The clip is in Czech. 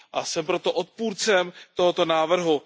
Jsem proto odpůrcem tohoto návrhu.